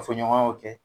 Ka fɔɲɔgɔnyaw kɛ